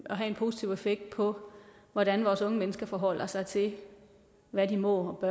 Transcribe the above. have en positiv effekt på hvordan vores unge mennesker forholder sig til hvad de må og